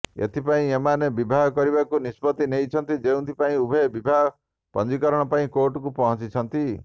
ଏଥିପାଇଁ ଏମାନେ ବିବାହ କରିବାକୁ ନିଷ୍ପତ୍ତି ନେଇଛନ୍ତି ଯେଉଁଥିପାଇଁ ଉଭୟେ ବିବାହ ପଞ୍ଜୀକରଣ ପାଇଁ କୋର୍ଟକୁ ପହଞ୍ଚିଛନ୍ତି